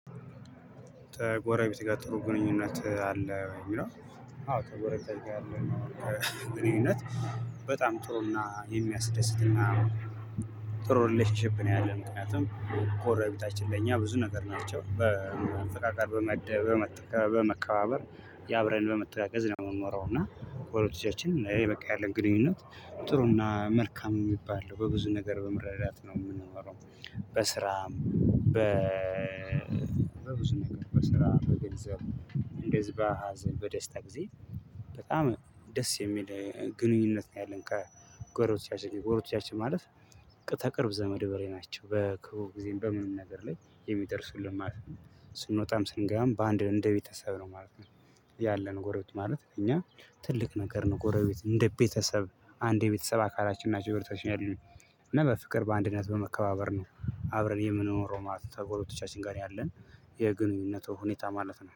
ተጎረቤት ጋር ጥሩ ግንኙነት አለ የሚለው። አዎ ተጎረቤት ጋር ያለነው ግንኙነት በጣም ጥሩና የሚያስደስትና። ጥሩ ሪሌሽንሺፕ ነው ያለን ምክንያቱም ጎርቤታችን ለእኛ ብዙ ነገር ናቸው። በመተካከል በመከባበር አብረን በመጠቀም ነው የምንኖረው እና ወደ ልጆቻችን የበቃ ያለን ግንኙነት ጥሩና መልካም የሚባል ነው በብዙ ነገር በመረዳት ነው የምንኖረው። በስራም በ በብዙ ነገር በስራ በገንዘብ እንደ ህዝባ ሀዘን በደስታ ጊዜ በጣም ደስ የሚል ግንኙነት ነው። ያለን ከ ጎሮቻችን ጎሮቻችን ማለት ከቅርብ ዘመድ በሬ ናቸው በክፉ ጊዜም በምንም ነገር ላይ የሚደርሱልን ማለት ነው። ስንወጣም ስንገራም በአንድ እንደ ቤተሰብ ነው ማለት ነው። ያለነው ጎረት ቤት ማለት እኛ ትልቅ ነገር ነው። ጉረቤት እንደ ቤተሰብ አንድ ቤተሰብ አካላችን ናቸው ቤተሰብ የለም። በፍቅር በአንድነት በመከባበር ነው አብረን የምኖረው ማለት ነው። ተብሎ ትችላለን ያለን የግንኙነቱ ሁኔታ ማለት ነው